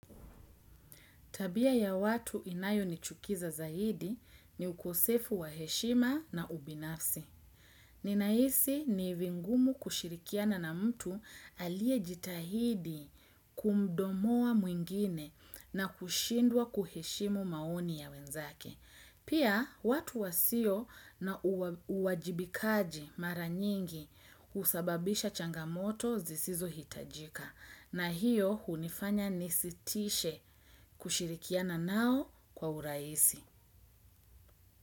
Tabia ya watu inayonichukiza zaidi ni ukosefu wa heshima na ubinafsi. Ninaisi ni vigumu kushirikiana na mtu aliejitahidi kumdonoa mwingine na kushindwa kuheshimu maoni ya wenzake. Pia watu wasio na uwajibikaji mara nyingi husababisha changamoto zisizohitajika. Na hiyo hunifanya nisitishe kushirikiana nao kwa urahisi.